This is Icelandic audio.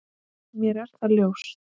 Mér er það ljóst.